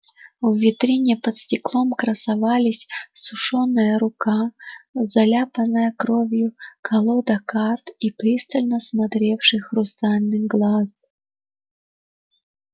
в витрине под стеклом красовались сушёная рука заляпанная кровью колода карт и пристально смотревший хрустальный глаз